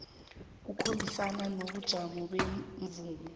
kukhambisana nobujamo bemvumo